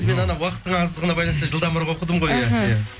уақыттың аздығына байланысты жылдамырақ оқыдым ғой